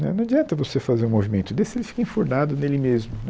Né não adianta você fazer um movimento desse, se ele fica enfurnado nele mesmo.